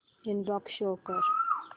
inbox show कर